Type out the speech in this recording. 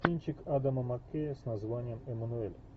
кинчик адама маккея с названием эммануэль